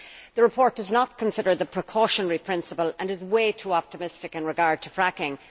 The report does not consider the precautionary principle and is way too optimistic in regard to fracking.